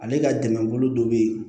Ale ka dɛmɛbolo dɔ bɛ ye